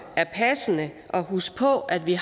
er passende at huske på at vi